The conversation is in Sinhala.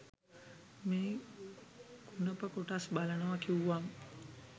මේ කුණප කොටස් බලනව කිව්වම